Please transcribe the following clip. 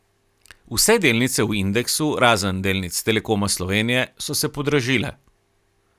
Vse delnice v indeksu, razen delnic Telekoma Slovenije, so se podražile.